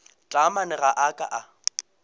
taamane ga a ka a